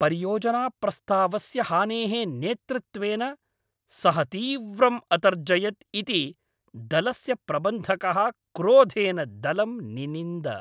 परियोजनाप्रस्तावस्य हानेः नेतृत्वेन सः तीव्रम् अतर्जयत् इति दलस्य प्रबन्धकः क्रोधेन दलं निनिन्द।